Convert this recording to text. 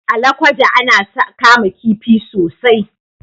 A Lokoja ana kama kifi sosai.